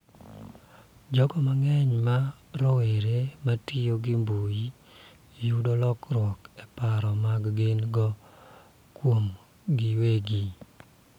Jogo mang�eny ma rowere ma tiyo gi mbui yudo lokruok e paro ma gin-go kuomgi giwegi